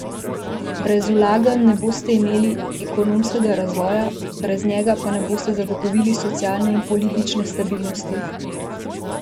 Brez vlaganj ne boste imeli ekonomskega razvoja, brez njega pa ne boste zagotovili socialne in politične stabilnosti!